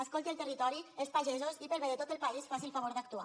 escolti el territori els pagesos i pel bé de tot el país faci el favor d’actuar